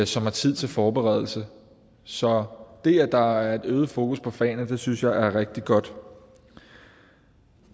som har tid til forberedelse så det at der er et øget fokus på fagene synes jeg er rigtig godt